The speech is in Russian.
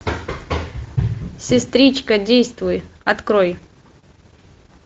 сестричка действуй открой